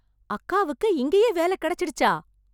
அக்காவுக்கு இங்கயே வேலை கெடைச்சிடுச்சா...